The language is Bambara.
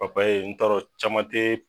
Papaye n t'a dɔn caman te